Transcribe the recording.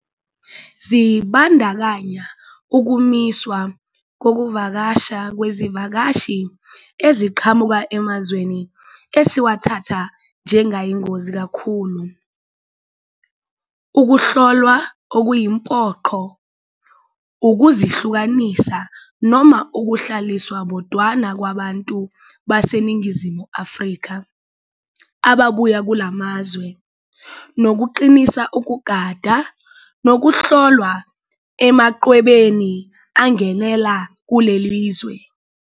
Zibandakanya ukumiswa kokuvakasha kwezivakashi eziqhamuka emazweni esiwathatha njengayingozi kakhulu, ukuhlolwa okuyimpoqo, ukuzihlukanisa noma ukuhlaliswa bodwana kwabantu baseNingizimu Afrika ababuya kula mazwe, nokuqinisa ukugada, nokuhlola emachwebeni angenela kuleli zwe.